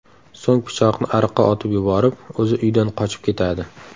So‘ng pichoqni ariqqa otib yuborib, o‘zi uydan qochib ketadi.